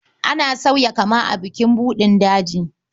Ana sauya kama a bukin buɗin daji.